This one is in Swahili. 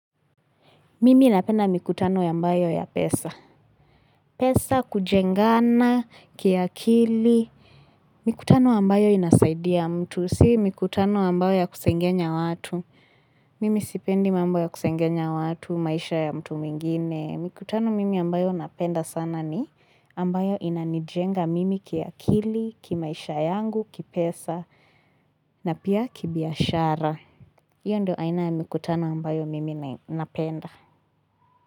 Mimi napenda mikutano ambayo ya pesa. Pesa, kujengana kiakili, mikutano ambayo inasaidia mtu. Si mikutano ambayo ya kusengenya watu. Mimi sipendi mambo ya kusengenya watu, maisha ya mtu mingine. Mikutano mimi ambayo napenda sana ni ambayo inanijenga mimi kiakili, kimaisha yangu, kipesa, na pia kibiashara. Iyo ndio aina ya mikutano ambayo mimi napenda.